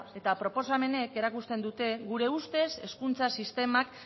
eta proposamenek erakusten dute gure ustez hezkuntza sistemak